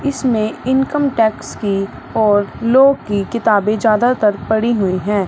इसमें income tax की और लॉ की किताबें ज्यादातर पड़ी हुई हैं।